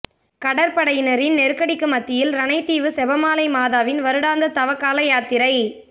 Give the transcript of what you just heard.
கடற்படையினரின் நெருக்கடிக்கு மத்தியில் இரணைத்தீவு செபமாலை மாதாவின் வருடாந்த தவக்கால யாத்திரை